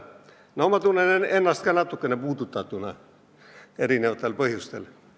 No ma tunnen ennast ka natukene puudutatuna erinevatel põhjustel.